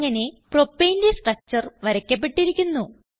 അങ്ങനെ Propaneന്റെ സ്ട്രക്ചർ വരയ്ക്കപ്പെട്ടിരിക്കുന്നു